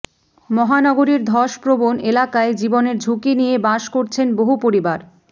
মহানগরীর ধস প্ৰবণ এলাকায় জীবনের ঝুঁকি নিয়ে বাস করছেন বহু পরিবার